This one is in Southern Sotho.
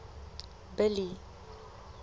billy